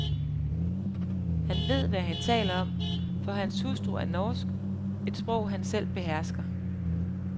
Han ved, hvad han taler om, for hans hustru er norsk, et sprog han selv behersker.